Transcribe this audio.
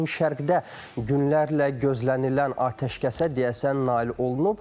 Yaxın şərqdə günlərlə gözlənilən atəşkəsə deyəsən nail olunub.